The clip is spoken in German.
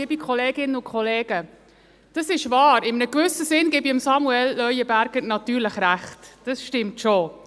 Das ist wahr, in einem gewissen Sinn gebe ich Samuel Leuenberger natürlich recht, das stimmt schon.